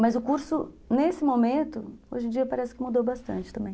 Mas o curso, nesse momento, hoje em dia parece que mudou bastante também.